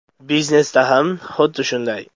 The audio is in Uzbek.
Biznesda ham xuddi shunday.